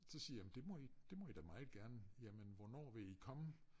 Så siger jeg det må i det må i da meget gerne jamen hvornår vil i komme?